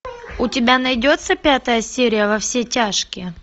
у тебя найдется пятая серия во все тяжкие